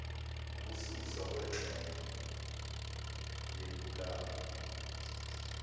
ukususwa kwengxenye yepulani